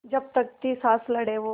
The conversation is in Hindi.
जब तक थी साँस लड़े वो